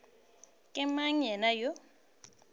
ke mang yena yoo a